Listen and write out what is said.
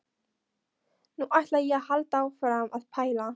Nú ætla ég að halda áfram að pæla.